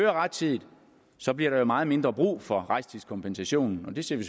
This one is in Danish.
er rettidig så bliver der meget mindre brug for rejsetidskompensationen og det ser vi